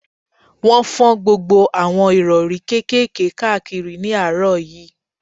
Wọ́n fọ́n gbogbo àwọn ìrọ̀rí kékèké káàkiri ní àárọ̀ yìí